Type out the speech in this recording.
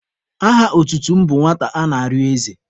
Aha otutu m bụ Nwata ana-arịọ eze.